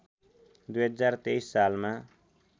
२०२३ सालमा